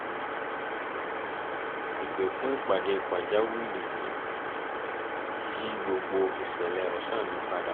ìpè fún ìpàdé pàjáwìrì yí gbogbo iṣẹ́ ọ̀sán mi padà